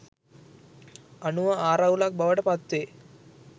අනුව ආරවුලක් බවට පත්වේ.